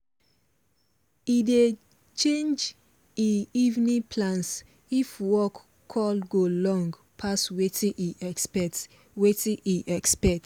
he dey change e evening plans if work call go long pass watin e expect watin e expect